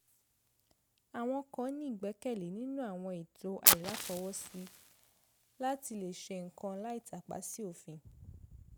àwọn kan ní ìgbẹ́kẹ̀lé nínú àwọn ètò àìláfọwọ́sí láti lè ṣe nǹkan láì tàpa sí òfin